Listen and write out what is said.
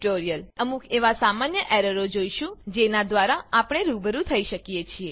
હવે આપણે અમુક એવા સામાન્ય એરરો જોઈશું જેના દ્વારા આપણે રૂબરૂ થઇ શકીએ છીએ